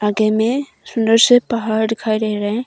में सुंदर से पहाड़ दिखाई दे रहे है।